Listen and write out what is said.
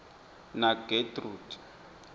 nagetrude